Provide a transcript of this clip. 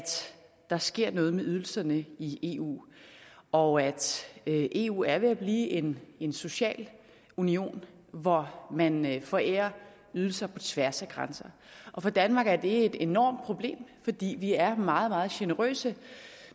der sker noget med ydelserne i eu og at eu er ved at blive en en social union hvor man forærer ydelser på tværs af grænser og for danmark er det et enormt problem fordi vi er meget meget generøse